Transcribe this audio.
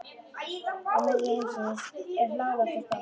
Og miðja heimsins er hláleg og stolt.